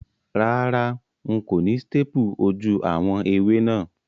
Rárá, n kò ni staple ojú àwon ẹwé náà